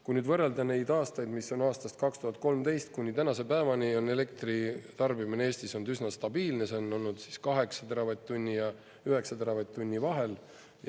Kui nüüd võrrelda neid aastaid, mis on aastast 2013 kuni tänase päevani, on elektritarbimine Eestis olnud üsna stabiilne, see on olnud 8 teravatt-tunni ja 9 teravatt-tunni vahel.